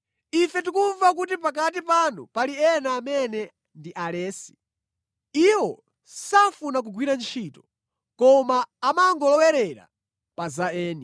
Ife tikumva kuti pakati panu pali ena amene ndi alesi. Iwo safuna kugwira ntchito, koma amangolowerera pa za eni.